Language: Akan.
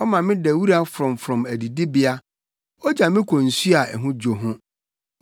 Ɔma meda wura frɔmfrɔm adidibea; ogya me kɔ nsu a ɛho dwo ho,